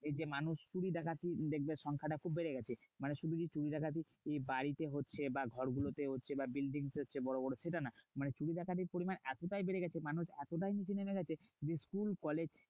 এই যে মানুষ চুরি ডাকাতির দেখবে সংখ্যাটা খুব বেড়ে গেছে। মানে শুধু যে চুরি ডাকাতি বাড়িতে হচ্ছে বা ঘরগুলো তে হচ্ছে বা buildings এ হচ্ছে বড়োবড়ো। সেটা না মানে চুরি ডাকাতির পরিমান এতটাই বেড়ে গেছে মানুষ এতটাই নিচে নেমে গেছে যে school কলেজ